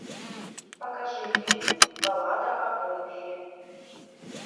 покажи фильм баллада о бомбере